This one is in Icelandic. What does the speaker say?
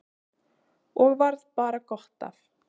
Og varð bara gott af.